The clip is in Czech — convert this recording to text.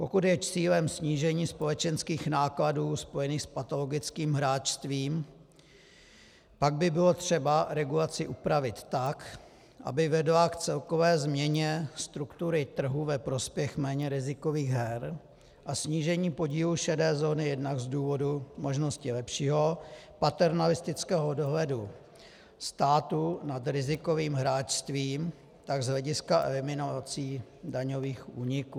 Pokud je cílem snížení společenských nákladů spojených s patologickým hráčstvím, pak by bylo třeba regulaci upravit tak, aby vedla k celkové změně struktury trhu ve prospěch méně rizikových her a snížení podílu šedé zóny jednak z důvodu možnosti lepšího paternalistického dohledu státu nad rizikovým hráčstvím, tak z hlediska eliminací daňových úniků.